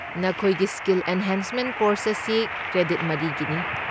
ꯅꯈꯣꯏꯒꯤ skill enhancement course ꯑꯁꯤ credit ꯃꯔꯤꯒꯤꯅꯤ꯫